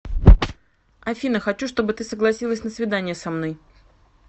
афина хочу чтобы ты согласилась на свидание со мной